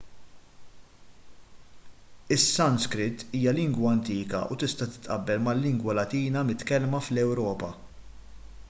is-sanskrit hija lingwa antika u tista' titqabbel mal-lingwa latina mitkellma fl-ewropa